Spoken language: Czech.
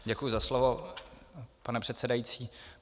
Děkuju za slovo, pane předsedající.